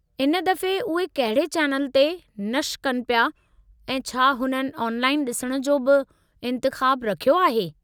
इन दफ़े उहे कहिड़े चैनल ते नश्र कनि पिया ऐं छा हुननि ऑनलाइन डि॒सणु जो बि इंतिख़ाबु रखियो आहे?